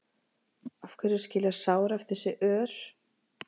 af hverju skilja sár eftir sig ör